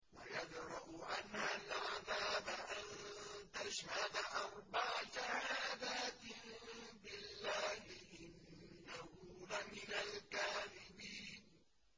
وَيَدْرَأُ عَنْهَا الْعَذَابَ أَن تَشْهَدَ أَرْبَعَ شَهَادَاتٍ بِاللَّهِ ۙ إِنَّهُ لَمِنَ الْكَاذِبِينَ